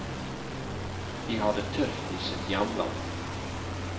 De har det tøft i sitt hjemland.